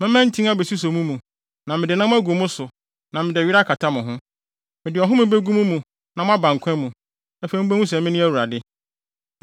Mɛma ntin abesuso mo mu, na mede nam agu mo so na mede were akata mo ho. Mede ɔhome begu mo mu na moaba nkwa mu. Afei mubehu sɛ mene Awurade.’ ”